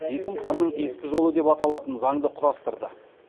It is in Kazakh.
есім ханның ескі жолы деп аталған заңды құрастырды